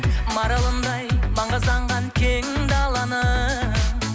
маралымдай маңғазданған кең даланың